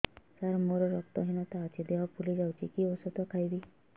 ସାର ମୋର ରକ୍ତ ହିନତା ଅଛି ଦେହ ଫୁଲି ଯାଉଛି କି ଓଷଦ ଖାଇବି